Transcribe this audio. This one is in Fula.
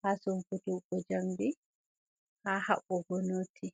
ha sumbutugo jamdi, ha habugo noti.